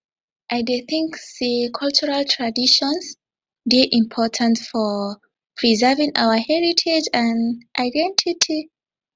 i dey think say cultural traditons dey important for preserving our heritage and identity